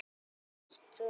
Nú var hún alein.